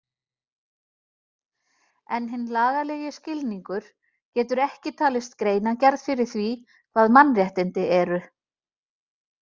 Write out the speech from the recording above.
En hinn lagalegi skilningur getur ekki talist greinargerð fyrir því hvað mannréttindi eru.